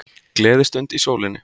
Gleðistund í sólinni